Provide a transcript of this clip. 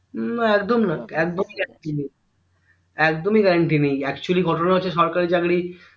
আহ হম একদমই guarantee নেই একদমই guarantee নেই actually ঘটনা হচ্ছে সরকারি চাকরি